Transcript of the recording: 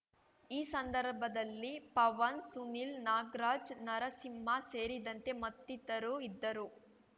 ಈ ಸಂದರ್ಭದಲ್ಲಿ ಪವನ್‌ ಸುನಿಲ್‌ ನಾಗ್ರಾಜ್‌ ನರಸಿಂಹ ಸೇರಿದಂತೆ ಮತ್ತಿತರು ಇದ್ದರು